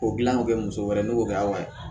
K'o dilan k'o kɛ muso wɛrɛ n'o kɛ aw ye